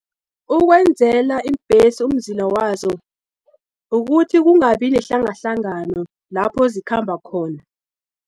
Ukwenzela iimbhesi umzila wazo, ukuthi kungabi nehlangahlangano lapho zikhamba khona.